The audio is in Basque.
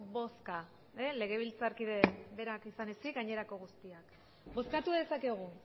bozka legebiltzarkide berak izan ezik gainerako guztiak bozkatu dezakegu